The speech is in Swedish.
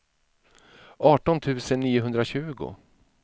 arton tusen niohundratjugo